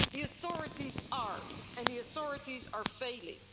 The authorities are, and the authorities are failing.